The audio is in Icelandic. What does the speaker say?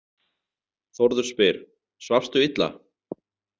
Þórður spyr: Svafstu illa?